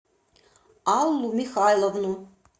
аллу михайловну